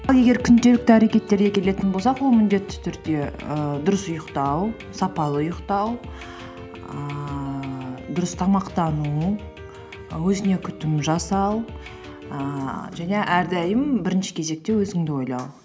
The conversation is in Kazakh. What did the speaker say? ал егер күнделікті әрекеттерге келетін болсақ ол міндетті түрде і дұрыс ұйықтау сапалы ұйықтау ііі дұрыс тамақтану өзіне күтім жасау ііі және әрдайым бірінші кезекте өзіңді ойлау